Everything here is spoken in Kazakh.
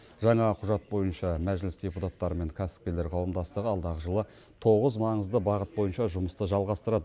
жаңа құжат бойынша мәжіліс депутаттары мен кәсіпкерлер қауымдастығы алдағы жылы тоғыз маңызды бағыт бойынша жұмысты жалғастырады